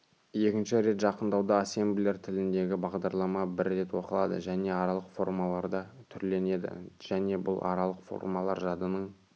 екінші рет жақындауда ассемблер тіліндегі бағдарлама бір рет оқылады және аралық формаларда түрленеді және бұл аралық формалар жадының